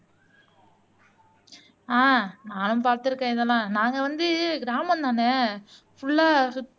ஆஹ் நானும் பாத்திருக்கேன் இதெல்லாம் நாங்க வந்து கிராமம்தானே ஃபுல்ல சுத்